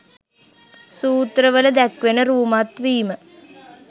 සූත්‍රවල දැක්වෙන රූමත් වීම